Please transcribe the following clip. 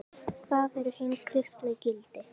Það eru hin kristnu gildi.